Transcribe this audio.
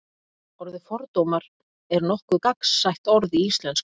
orðið fordómar er nokkuð gagnsætt orð í íslensku